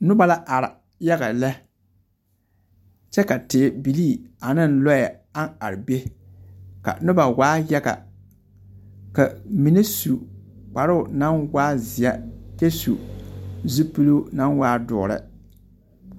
Noba la are yaga lԑ, kyԑ ka tebilii ane lͻͻ a are be, ka noba waa yaga. Ka ba mine su kparoo naŋ waa seԑ kyԑ su zupili naŋ waa dõͻre.